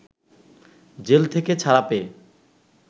jail থেকে ছাড়া পেয়ে